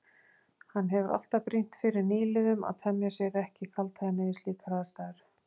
Hann hefur alltaf brýnt fyrir nýliðum að temja sér ekki kaldhæðni við slíkar aðstæður.